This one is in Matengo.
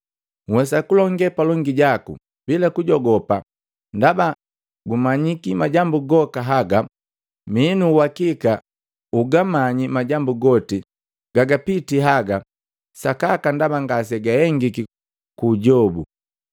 Wa bambu nkolongu Agilipa nhwesa kulonge palongi jaku bila kujogopa ndaba gumanyiki majambu goka haga. Mii nu uwakika ugamanyi majambu goti gagapiti haga sakaka ndaba ngasegahengiki kuujobu.